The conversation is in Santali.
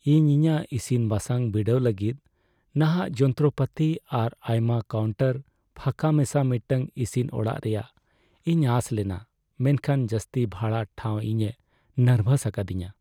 ᱤᱧ ᱤᱧᱟᱹᱜ ᱤᱥᱤᱱᱼᱵᱟᱥᱟᱝ ᱵᱤᱰᱟᱹᱣ ᱞᱟᱹᱜᱤᱫ ᱱᱟᱦᱟᱜ ᱡᱚᱱᱛᱨᱚᱯᱟᱹᱛᱤ ᱟᱨ ᱟᱭᱢᱟ ᱠᱟᱣᱩᱱᱴᱟᱨ ᱯᱷᱟᱸᱠᱟ ᱢᱮᱥᱟ ᱢᱤᱫᱴᱟᱝ ᱤᱥᱤᱱ ᱚᱲᱟᱜ ᱨᱮᱭᱟᱜ ᱤᱧ ᱟᱥ ᱞᱮᱱᱟ, ᱢᱮᱱᱠᱷᱟᱱ ᱡᱟᱹᱥᱛᱤ ᱵᱷᱲᱟ ᱴᱷᱟᱣ ᱤᱧᱮ ᱱᱟᱨᱵᱷᱟᱥ ᱟᱠᱟᱫᱤᱧᱟᱹ ᱾